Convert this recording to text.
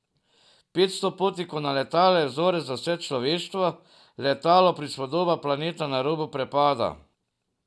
Petsto potnikov na letalu je vzorec za vse človeštvo, letalo prispodoba planeta na robu prepada.